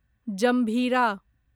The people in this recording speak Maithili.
जम्भीरा